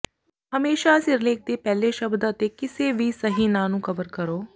ਹਮੇਸ਼ਾਂ ਸਿਰਲੇਖ ਦੇ ਪਹਿਲੇ ਸ਼ਬਦ ਅਤੇ ਕਿਸੇ ਵੀ ਸਹੀ ਨਾਂ ਨੂੰ ਕਵਰ ਕਰੋ